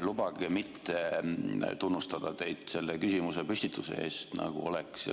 Lubage mitte tunnustada teid selle küsimuse püstituse eest, nagu oleks CO2